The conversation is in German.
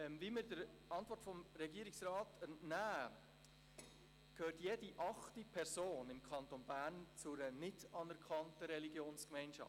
Wie wir der Antwort des Regierungsrats entnehmen, gehört jede achte Person im Kanton Bern zu einer nicht anerkannten Religionsgemeinschaft.